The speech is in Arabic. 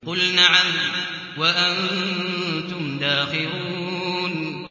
قُلْ نَعَمْ وَأَنتُمْ دَاخِرُونَ